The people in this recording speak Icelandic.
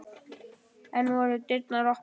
Enn voru dyrnar opnar.